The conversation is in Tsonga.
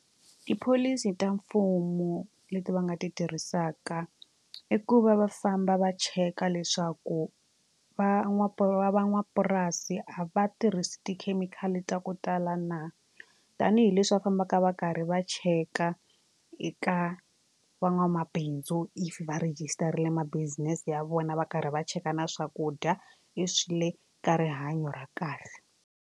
Tipholisi ta mfumo leti va nga ti tirhisaka i ku va va famba va cheka leswaku van'wapurasi a va tirhisi tikhemikhali ta ku tala na tanihileswi va fambaka va karhi va cheka eka van'wamabindzu if va rejistarile ma-business ya vona va karhi va cheka na swakudya if swi le ka rihanyo ra kahle.